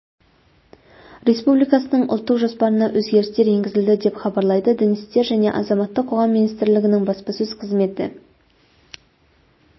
республикасының ұлттық жоспарына өзгерістер енгізілді деп хабарлайды дін істері және азаматтық қоғам министрлігінің баспасөз қызметі